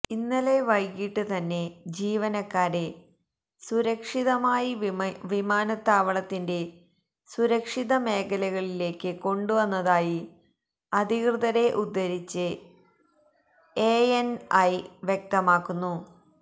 ഇന്നലെ വൈകീട്ട് തന്നെ ജീവനക്കാരെ സുരക്ഷിതമായി വിമാനത്താവളത്തിന്റെ സുരക്ഷിത മേഖലകളിലേക്ക് കൊണ്ടുവന്നതായി അധികൃതരെ ഉദ്ധരിച്ച് എഎന്ഐ വ്യക്തമാക്കുന്നു